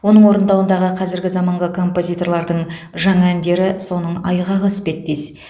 оның орындауындағы қазіргі заманғы композиторлардың жаңа әндері соның айғағы іспеттес